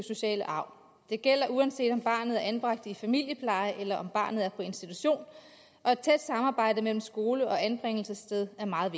sociale arv det gælder uanset om barnet er anbragt i familiepleje eller om barnet er på institution og et tæt samarbejde mellem skole og anbringelsessted er meget